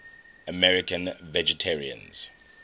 american vegetarians